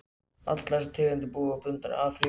Allar eru þessar tegundir bundnar við Afríku.